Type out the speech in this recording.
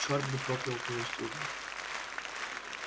чёрт бы проклял твою службу